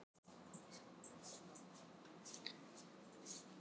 Með rauðan munn.